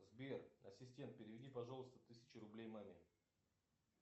сбер ассистент переведи пожалуйста тысячу рублей маме